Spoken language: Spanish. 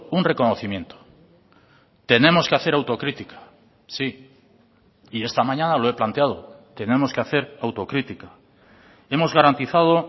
un reconocimiento tenemos que hacer autocrítica sí y esta mañana lo he planteado tenemos que hacer autocrítica hemos garantizado